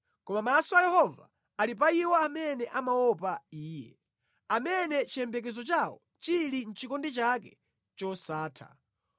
Koma maso a Yehova ali pa iwo amene amaopa Iye; amene chiyembekezo chawo chili mʼchikondi chake chosatha,